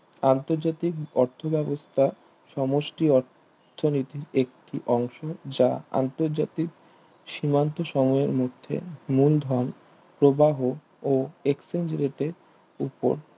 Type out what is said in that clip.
আন্তর্জাতিক অর্থ ব্যবস্থা সমষ্টি আর্থিনীতির একটি অংশ যা অন্তর তাজিক সীমান্ত সম্মূহের মধ্যে মূলধন প্রবাহ ও exchange rate এ উপ